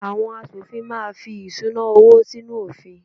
Àwọn aṣòfin máa fí ìṣúná-owó sínú òfin.